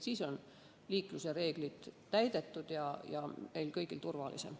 Siis on liiklusreeglid täidetud ja meil kõigil turvalisem.